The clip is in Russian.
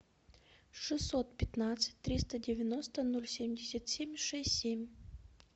шестьсот пятнадцать триста девяносто ноль семьдесят семь шесть семь